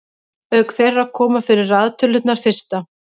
auk þeirra koma fyrir raðtölurnar fyrsta